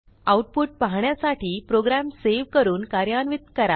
output पाहण्यासाठी program save करून कार्यान्वित करा